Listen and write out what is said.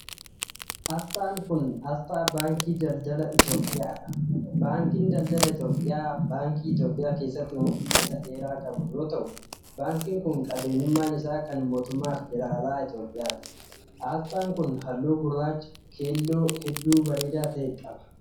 Asxaan kun, asxaa Baankii Daldala Itoophiyaa dha. Baankiin Daldala Itoophiyaa baankii Itoophiyaa keessatti umurii isa dheeraa qabu yoo ta'u, baankiin kun qabeenyummaan isaa kan mootummaa federaalaa Itoophiyaati. Asxaan kun, haalluu gurraacha keelloo hedduu bareedaa ta'e qaba.